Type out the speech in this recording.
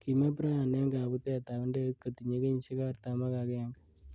Kime Brayant eng kabutet ab ndegeit kotinye kenyishek artam.ak agenge.